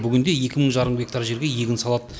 бүгінде екі мың жарым гектар жерге егін салады